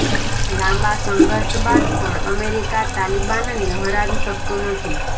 લાંબા સંઘર્ષ બાદ પણ અમેરિકા તાલિબાનને હરાવી શકયું નથી